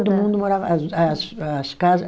Todo mundo morava as as as casa.